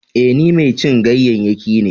E, ni mai cin ganyayyaki ne.